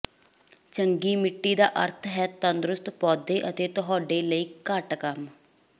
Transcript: ਚੰਗੀ ਮਿੱਟੀ ਦਾ ਅਰਥ ਹੈ ਤੰਦਰੁਸਤ ਪੌਦੇ ਅਤੇ ਤੁਹਾਡੇ ਲਈ ਘੱਟ ਕੰਮ